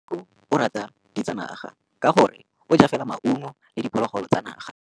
Tshekô o rata ditsanaga ka gore o ja fela maungo le diphologolo tsa naga.